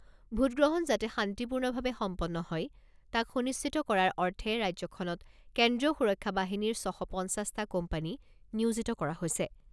ভোটগ্ৰহণ যাতে শান্তিপূৰ্ণভাৱে সম্পন্ন হয় তাক সুনিশ্চিত কৰাৰ অৰ্থে ৰাজ্যখনত কেন্দ্ৰীয় সুৰক্ষা বাহিনীৰ ছশ পঞ্চাছটা কোম্পানী নিয়োজিত কৰা হৈছে।